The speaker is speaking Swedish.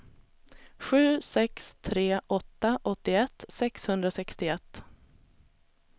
sju sex tre åtta åttioett sexhundrasextioett